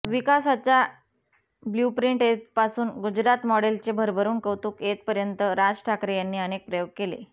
विकासाचा ब्ल्यूप्रिंट येथपासून गुजरात मॉडेलचे भरभरून कौतुक येथपर्यंत राज ठाकरे यांनी अनेक प्रयोग केले